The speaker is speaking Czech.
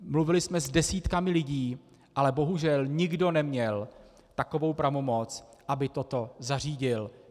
Mluvili jsme s desítkami lidí, ale bohužel nikdo neměl takovou pravomoc, aby toto zařídil.